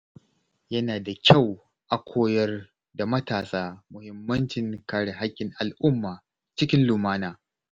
Yana da kyau a koyar da matasa muhimmancin kare haƙƙin al’umma cikin lumana.